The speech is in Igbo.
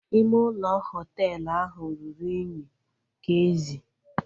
Ime ụlọ hoteelu ahụ ruru unyi ka ezi